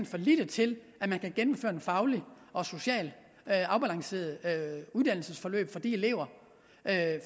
for lille til at man kan gennemføre et fagligt og socialt afbalanceret uddannelsesforløb for de elever